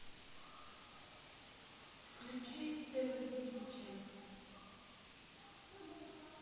включи тв тысяча